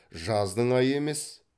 жаздың айы емес